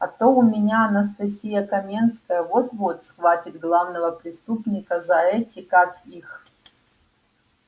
а то у меня анастасия каменская вот-вот схватит главного преступника за эти как их